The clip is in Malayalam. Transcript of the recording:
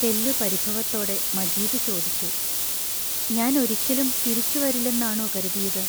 തെല്ലു പരിഭവത്തോടെ മജീദ് ചോദിച്ചു: ഞാൻ ഒരിക്കലും തിരിച്ചുവരില്ലെന്നാണോ കരുതിയത്.